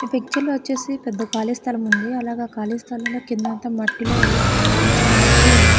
ఈ పిక్చర్ లో వచ్చేసి పెద్ద కాళీ స్థలం ఉంది అలాగే కాళిస్థలం లో కింద అంత మట్టి లో ఏవో చిన్న చిన్న మొక్కలున్నాయి.